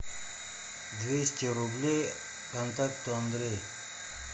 двести рублей контакту андрей